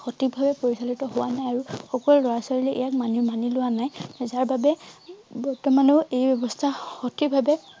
সঠিক ভাবে পৰিচালিত হোৱা নাই আৰু সকলো লৰা ছোৱালীয়ে ইয়াক মানি মানি লোৱা নাই যাৰ বাবে বৰ্তমানেও এই ব্যৱস্থা সঠিক ভাবে